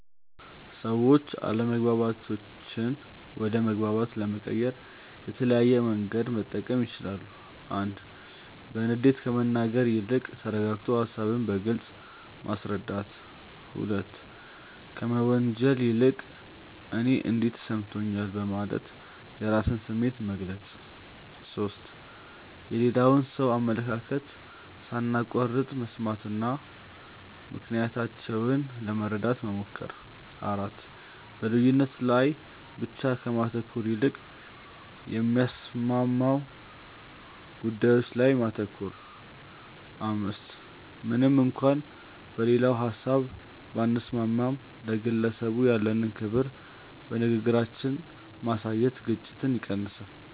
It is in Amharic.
ሰዎች አለመግባባቶችን ወደ መግባባት ለመቀየር የተለያየ መንገድ መጠቀም ይችላሉ፦ 1. በንዴት ከመናገር ይልቅ ተረጋግቶ ሃሳብን በግልጽ ማስረዳት። 2. ከመወንጀል ይልቅ "እኔ እንዲህ ተሰምቶኛል" በማለት የራስን ስሜት መግለጽ። 3. የሌላውን ሰው አመለካከት ሳናቋርጥ መስማትና ምክንያታቸውን ለመረዳት መሞከር። 4. በልዩነት ላይ ብቻ ከማተኮር ይልቅ የሚያስማሙ ጉዳዮች ላይ ማተኮር። 5. ምንም እንኳን በሌላው ሀሳብ ባንስማማም፣ ለግለሰቡ ያለንን ክብር በንግግራችን ማሳየት ግጭትን ይቀንሳል።